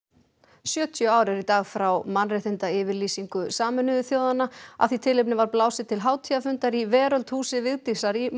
sjötíu ár eru í dag frá mannréttindayfirlýsingu Sameinuðu þjóðanna af því tilefni var blásið til hátíðarfundar í Veröld húsi Vigdísar í